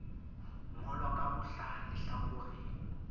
ngolwa ka ho hlaha lehlakoreng